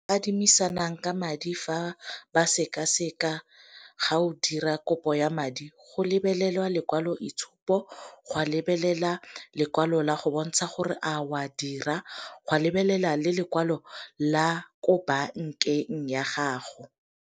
Adimisanang ka madi fa ba sekaseka ga o dira kopo ya madi, go lebelelwa lekwalo itshupo, go a lebelela lekwalo la go bontsha gore a o a dira, go a lebelela le lekwalo la ko bankeng ya gago.